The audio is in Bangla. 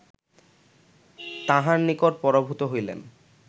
তাঁহার নিকট পরাভূত হইলেন